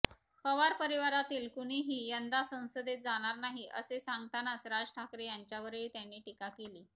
पवार परिवारातील कुणीही यंदा संसदेत जाणार नाही असे सांगतानाच राज ठाकरे यांच्यावरही त्यांनी टीका केली